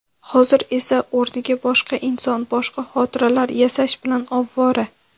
Hozir esa o‘rniga boshqa inson boshqa xotiralar yasash bilan ovvora.